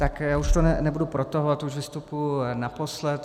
Tak já už to nebudu protahovat, už vystupuji naposled.